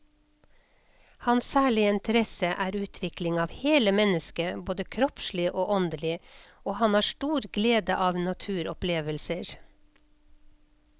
Hans særlige interesse er utvikling av hele mennesket både kroppslig og åndelig, og han har stor glede av naturopplevelser.